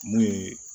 Mun ye